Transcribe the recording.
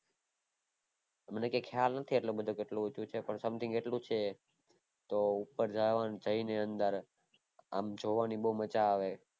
મને કાય ખ્યાલ નથી કેટલું કે કેટલું ઊંચું છે something એટલું છે તો ઉપર જાયને અંદર અમ જોવાની બૌ મજા આવે